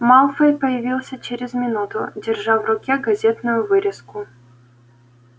малфой появился через минуту держа в руке газетную вырезку